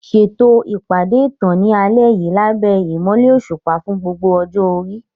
Ṣètò ìpàdé ìtàn ní alẹ́ yìí lábẹ́ ìmọ́lẹ̀ òṣùpá fún gbogbo ọjọ́ orí.